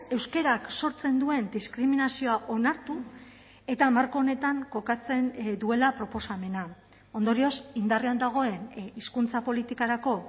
euskarak sortzen duen diskriminazioa onartu eta marko honetan kokatzen duela proposamena ondorioz indarrean dagoen hizkuntza politikarako